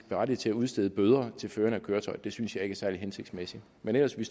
ret til at udstede bøder til føreren af køretøjet det synes jeg ikke er særlig hensigtsmæssigt men ellers vil